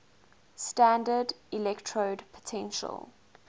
standard electrode potential